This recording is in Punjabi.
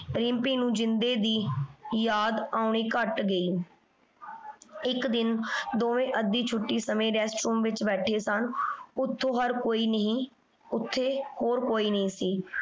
ਰਿਮ੍ਪੀ ਨੂ ਜਿੰਦੇ ਦੀ ਯਾਦ ਆਉਣੀ ਕਤ ਗਈ ਇਕ ਦਿਨ ਦੋਵੇਂ ਅਧਿ ਛੁਟੀ ਸਮੇ rest room ਵਿਚ ਬੈਠੇ ਸਨ ਓਥੋ ਹਰ ਕੋਈ ਨਹੀ ਓਥੇ ਹੋਰ ਕੋਈ ਨਹੀ ਸੀ।